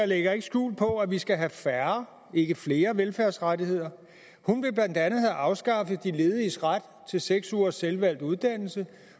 lægger ikke skjul på at vi skal have færre ikke flere velfærdsrettigheder hun vil blandt andet have afskaffet de lediges ret til seks ugers selvvalgt uddannelse